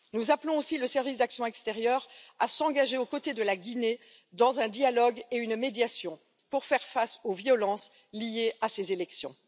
Nous appelons aussi le Service pour l'action extérieure à s'engager aux côtés de la Guinée dans un dialogue et une médiation pour faire face aux violences liées à ces élections.